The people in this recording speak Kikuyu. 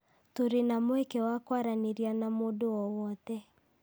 Tũrĩ na mweke wa kwaranĩria na mũndũ o wothe.